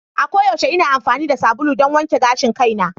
A koyaushe ina amfani da sabulu don wanke gashin kaina.